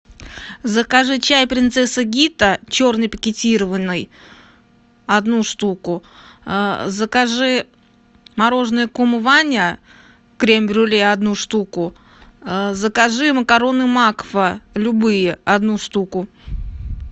закажи чай принцесса гита черный пакетированный одну штуку закажи мороженое кум ваня крем брюле одну штуку закажи макароны макфа любые одну штуку